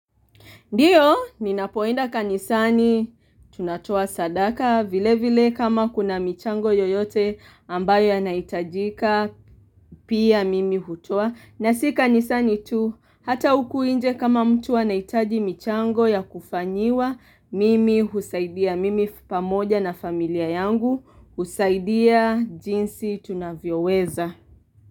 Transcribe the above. Ndiyo, ninapoenda kanisani, tunatoa sadaka vile vile kama kuna michango yoyote ambayo yanahitajika pia mimi hutoa. Na si kanisani tu, hata huku nje kama mtu anaitaji michango ya kufanyiwa mimi husaidia, mimi pamoja na familia yangu husaidia jinsi tunavyoweza.